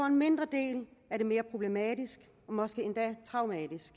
en mindre del er det mere problematisk og måske endda traumatisk